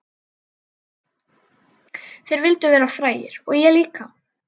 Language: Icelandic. Þeir vildu verða frægir og ég líka.